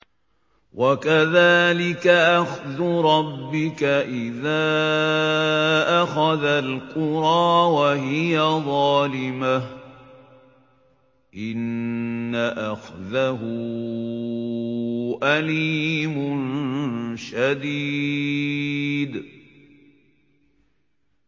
وَكَذَٰلِكَ أَخْذُ رَبِّكَ إِذَا أَخَذَ الْقُرَىٰ وَهِيَ ظَالِمَةٌ ۚ إِنَّ أَخْذَهُ أَلِيمٌ شَدِيدٌ